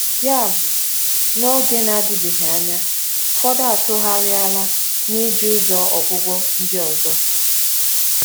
Yabụ, n’oge na-adịbeghị anya, ụfọdụ atụgharịala n’iji ụzọ ọgwụgwọ ndị ọzọ.